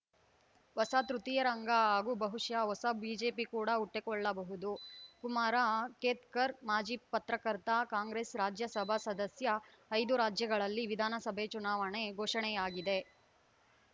ಹೊಸ ತೃತೀಯ ರಂಗ ಹಾಗೂ ಬಹುಶಃ ಹೊಸ ಬಿಜೆಪಿ ಕೂಡ ಹುಟ್ಟಿಕೊಳ್ಳಬಹುದುಕುಮಾರ್‌ ಕೇತ್ಕರ್‌ ಮಾಜಿ ಪತ್ರಕರ್ತ ಕಾಂಗ್ರೆಸ್‌ ರಾಜ್ಯಸಭಾ ಸದಸ್ಯ ಐದು ರಾಜ್ಯಗಳಲ್ಲಿ ವಿಧಾನಸಭೆ ಚುನಾವಣೆ ಘೋಷಣೆಯಾಗಿದೆ